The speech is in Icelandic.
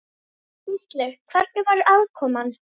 Gísli: Hvernig var aðkoman?